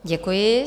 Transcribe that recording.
Děkuji.